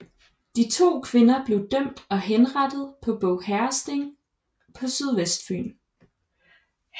De to kvinder blev dømt og henrettet på Båg herredsting på Sydvestfyn